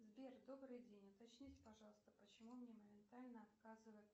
сбер добрый день уточните пожалуйста почему мне моментально отказывают